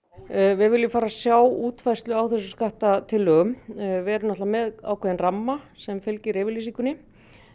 við viljum fara að sjá útfærslu á þessum skattatillögum við erum með ákveðinn ramma sem fylgir yfirlýsingunni